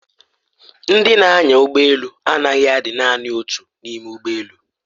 Ndị na-anya ụgbọ elu anaghị adị naani otu n'ime ụgbọ elu.